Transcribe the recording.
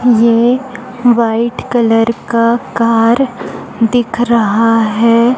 ये white colour का car दिख रहा है।